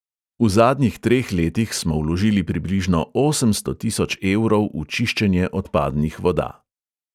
V zadnjih treh letih smo vložili približno osemsto tisoč evrov v čiščenje odpadnih voda.